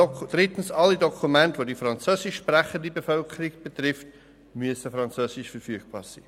Drittens: Alle Dokumente, welche die französischsprachige Bevölkerung betreffen, müssen auf Französisch verfügbar sein.